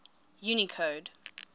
unicode